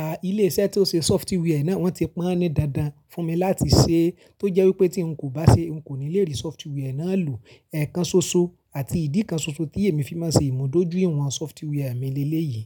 à ilé-iṣẹ́ tó ṣe sọfitíwí ẹ náà wọ́n ti pọń aní dáadáa fún mi láti ṣe, tó jẹ́ wípé tí ń kò bá ṣe ń kò ní lè rí sọfitíwí ẹ náà lò. Ẹ̀ẹ̀kan ṣoṣo àti ìdí kan ṣoṣo tí èmi fi máa ń ṣe ìmúdójúìwọ̀n sọfitíwí à mi lé lé yìí.